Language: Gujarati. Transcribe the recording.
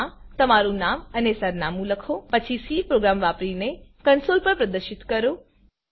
ફાઇલમાં તમારું નામ અને સરનામું લખો પછી સી પ્રોગ્રામ વાપરીને કન્સોલ પર પ્રદર્શિત કરો